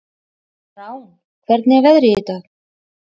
Rán, hvernig er veðrið í dag?